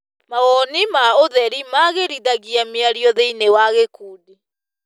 Mawoni ma ũtheri magĩrithagia mĩario thĩiniĩ wa gĩkundi.